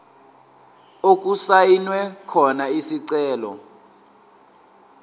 okusayinwe khona isicelo